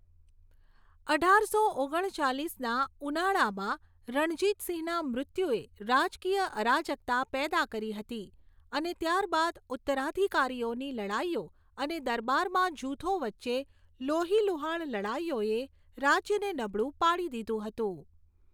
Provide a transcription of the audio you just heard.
અઢારસો ઓગણ ચાલીસના ઉનાળામાં રણજીતસિંહના મૃત્યુએ રાજકીય અરાજકતા પેદા કરી હતી અને ત્યારબાદ ઉત્તરાધિકારીઓની લડાઈઓ અને દરબારમાં જૂથો વચ્ચે લોહીલુહાણ લડાઈઓએ રાજ્યને નબળું પાડી દીધું હતું.